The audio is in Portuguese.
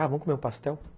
Ah, vamos comer um pastel?